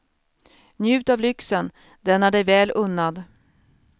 Njut av lyxen, den är dig väl unnad.